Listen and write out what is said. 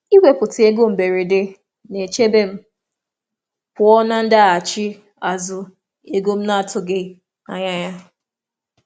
Ịtọpụ ego maka ihe mberede na-echebe m pụọ na um nsogbu ego na-atụghị anya ya.